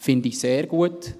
Das finde ich sehr gut.